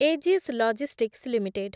Ageas Logistics limited